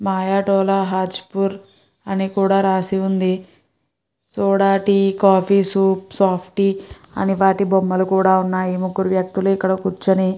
నయా తొల హ్యాజ్పూర్ అని కూడా రాసి ఉంది soda tea coffee soup soft tea అని వాటి బొమ్మలు కూడా ఉన్నాయి ముగ్గురు వ్యక్తులు ఇక్కడ కూర్చుని.